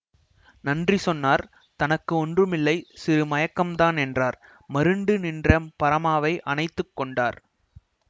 நன்றி சொன்னார் தனக்கு ஒன்றுமில்லை சிறு மயக்கம்தான் என்றார் மருண்டு நின்ற பரமாவை அணைத்து கொண்டார்